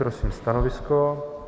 Prosím stanovisko?